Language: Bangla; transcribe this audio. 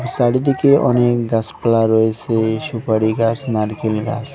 চারিদিকে অনেক গাছপালা রয়েছে সুপারি গাছ নারকেল গাছ।